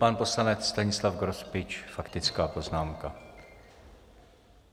Pan poslanec Stanislav Grospič - faktická poznámka.